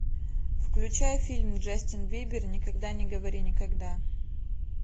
включай фильм джастин бибер никогда не говори никогда